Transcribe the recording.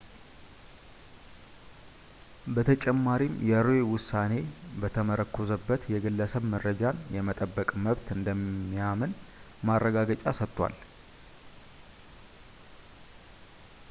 በተጨማሪም የroe ውሳኔ በተመረኮዘበት የግለሰብ መረጃን የመጠበቅ መብት እንደሚያምንም ማረጋገጫ ሰጥቷል